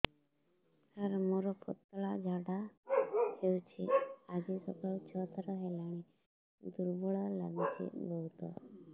ସାର ମୋର ପତଳା ଝାଡା ହେଉଛି ଆଜି ସକାଳୁ ଛଅ ଥର ହେଲାଣି ଦୁର୍ବଳ ଲାଗୁଚି ବହୁତ